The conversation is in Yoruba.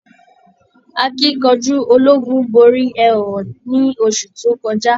Akínkanjú ológun borí ẹhọ̀nà ní oṣù tó kọjá.